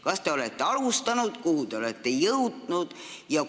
Kas te olete alustanud ja kuhu te olete jõudnud?